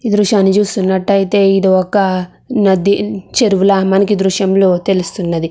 ఈ దృశ్యని చూస్తున్నట్టయితే ఇది ఒక నాది చెరువుల మనకి దృశ్యంలో తెలుస్తుంది.